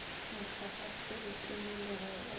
mohlagase di timilwe ge o